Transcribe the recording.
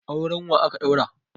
Auren wa aka ɗaura?